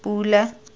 pula